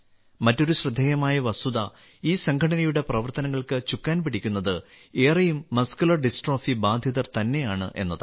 മറ്റൊരു ശ്രദ്ധേയമായ വസ്തുത ഈ സംഘടനയുടെ പ്രവർത്തനങ്ങൾക്ക് ചുക്കാൻ പിടിക്കുന്നത് ഏറെയും മസ്കുലർ ഡിസ്ട്രോഫി ബാധിതർ തന്നെയാണ് എന്നതാണ്